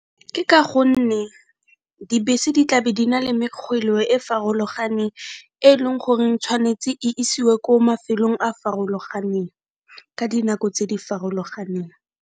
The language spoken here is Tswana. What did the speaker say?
Ke ka gonne dibese di tlabe di na le e farologaneng, e leng goreng tshwanetse e isiwe ko mafelong a farologaneng, ka dinako tse di farologaneng.